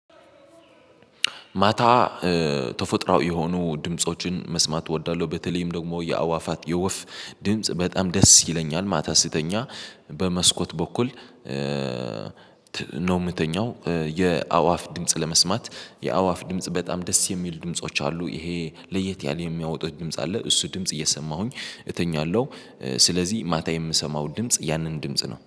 ማታ ተፈጥሯአዊ የሆኑ ድምፆችን መስማት እወዳለሁ። በተለይም ደግሞ የአእዋፋት የወፍ ድምጽ በጣም ደስ ይለኛል። ማታ ስተኛ በመስኮት በኩል። ነው የምተኛው የአእዋፍ ድምጽ ለመስማት የአእዋፍ ድምጽ በጣም ደስ የሚል ድምጾች አሉ። ይሄ ለየት ያለ የሚያወጡት ድምጽ አለ። እሱ ድምጽ እየሰማሁኝ እተኛለሁ ስለዚህ ማታ የምሰማው ድምጽ ያንን ድምጽ ነው